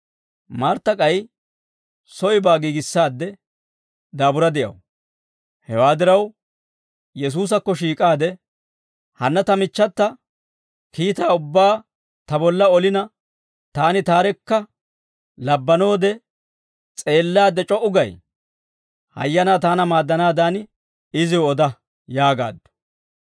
Martta k'ay soybaa giigissaadde daabura de'aw; hewaa diraw Yesuusakko shiik'aade, «Hanna ta michchata, kiitaa ubbaa ta bolla olina, taani taarekka labbanoode s'eellaadde c'o"u gay? Hayyanaa taana maaddanaadan iziw oda» yaagaaddu.